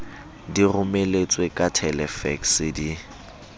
di romeletswe ka thelefekse di